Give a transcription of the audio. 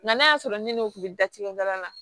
Nga n'a y'a sɔrɔ ni n'u bɛ datugu baara la